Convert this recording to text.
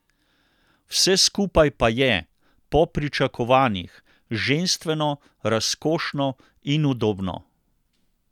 Vse skupaj pa je, po pričakovanjih, ženstveno, razkošno in udobno.